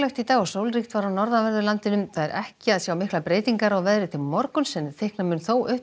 í dag og sólríkt var á norðanverðu landinu ekki er að sjá miklar breytingar á veðri til morguns en þykkna mun þó upp